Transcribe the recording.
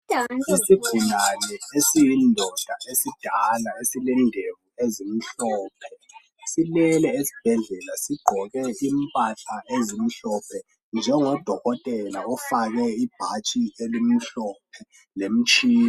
Isigulane esiyindoda esidala esilendevu ezimhlophe silele esibhedlela sigqoke impahla ezimhlophe njengo dokotelanofake ibhatshi elimhlophe lemitshina